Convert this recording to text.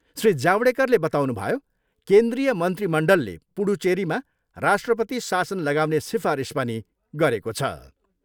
श्री जावडेकरले बताउनुभयो, केन्द्रीय मन्त्रीमण्डलले पुडुचेरीमा राष्ट्रपति शासन लागाउने सिफारिस पनि गरेको छ।